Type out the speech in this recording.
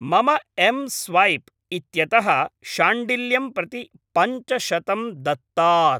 मम एम् स्वैप् इत्यतः शाण्डिल्यं प्रति पञ्चशतं दत्तात्।